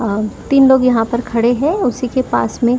आ तीन लोग यहां पर खड़े हैं उसी के पास में--